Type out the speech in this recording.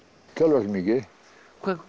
töluvert mikið